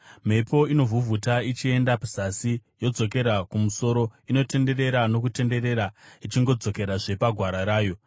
Mhepo inovhuvhuta ichienda zasi, yozodzokera kumusoro; inotenderera nokutenderera ichingodzokerazve pagwara rayo.